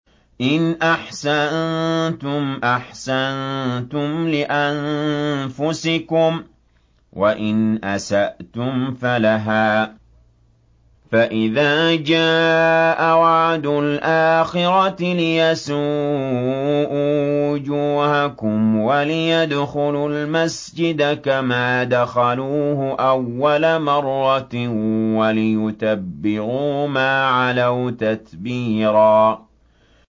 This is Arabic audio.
إِنْ أَحْسَنتُمْ أَحْسَنتُمْ لِأَنفُسِكُمْ ۖ وَإِنْ أَسَأْتُمْ فَلَهَا ۚ فَإِذَا جَاءَ وَعْدُ الْآخِرَةِ لِيَسُوءُوا وُجُوهَكُمْ وَلِيَدْخُلُوا الْمَسْجِدَ كَمَا دَخَلُوهُ أَوَّلَ مَرَّةٍ وَلِيُتَبِّرُوا مَا عَلَوْا تَتْبِيرًا